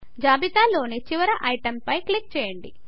జాబితాలో ని చివరి ఐటెమ్ పై క్లిక్ చేయండి